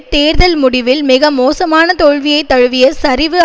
தேர்தல் முடிவில் மிக மோசமான தோல்வியை தழுவிய சரிவு